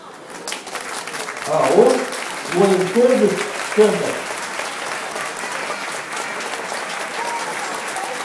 ао военторг центр